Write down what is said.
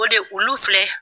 O de olu filɛ